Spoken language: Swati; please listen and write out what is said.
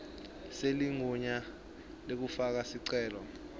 seligunya lekufaka sicelo